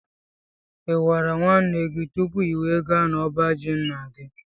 i gwara nwanne gị tụpụ i wee gaa na ọbá jị ńnà gị?